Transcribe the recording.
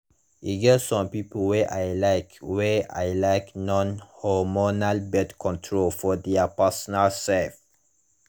e get some people wey lyk wey lyk non hormonal birth control for their personal sef